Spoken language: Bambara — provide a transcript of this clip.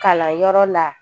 Kalanyɔrɔ la